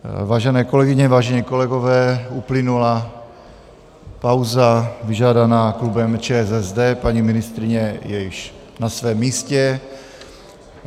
Vážené kolegyně, vážení kolegové, uplynula pauza vyžádaná klubem ČSSD, paní ministryně je již na svém místě.